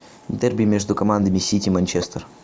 дерби между командами сити манчестер